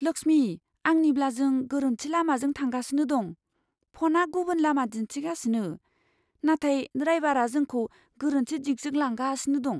लक्ष्मी, आंनिब्ला जों गोरोन्थि लामाजों थांगासिनो दं। फ'नआ गुबुन लामा दिन्थिगासिनो, नाथाय ड्राइवारा जोंखौ गोरोन्थि दिगजों लांगासिनो दं।